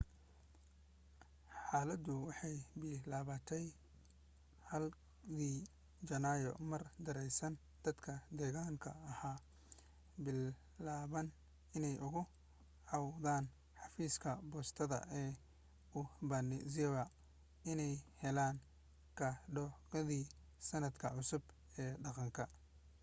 xaaladu waxay bilaabantay 1dii janaayo mar daraasiin dadka deegaanka ahi bilaabeen inay uga cawdaan xafiiska boostada ee obanazawa inaanay helin kaadhadhkoodii sannadka cusbaa ee dhaqanka